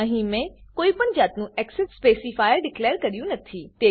અહીં મેં કોઈપણ જાતનું એક્સેસ સ્પેસીફાયર ડીકલેર કર્યું નથી